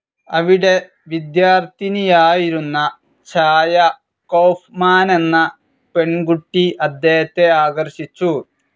അവിടെ വിദ്യാർത്ഥിനിയായിരുന്ന ഛായ കൗഫ്മാനെന്ന പെൺകുട്ടി അദ്ദേഹത്തെ ആകർഷിച്ചു.